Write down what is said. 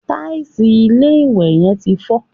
Tàìsì ilé-ìwẹ̀ yẹn ti ń fọ́